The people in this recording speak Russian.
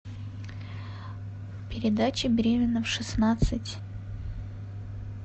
передача беременна в шестнадцать